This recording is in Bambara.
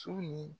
Su ni